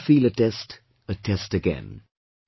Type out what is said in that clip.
You will never feel a test, a test again